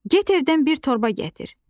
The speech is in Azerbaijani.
Get evdən bir torba gətir.